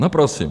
No prosím.